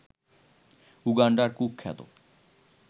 উগান্ডার কুখ্যাত